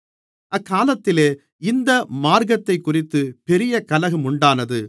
அக்காலத்திலே இந்த மார்க்கத்தைக்குறித்துப் பெரிய கலகம் உண்டானது